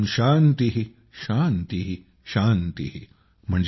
ॐ शान्तिः शान्तिः शान्तिः ॥